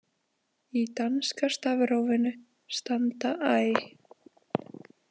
Í danska stafrófinu standa æ.